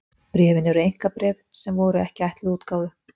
bréfin eru einkabréf sem voru ekki ætluð útgáfu